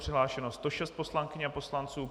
Přihlášeno 106 poslankyň a poslanců.